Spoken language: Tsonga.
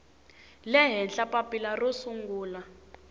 le henhla papila ro sungula